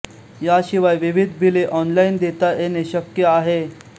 याशिवाय विविध बिले ऑनलाईन देता येणे शक्य आहे